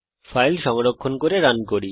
file সংরক্ষণ করে run করুন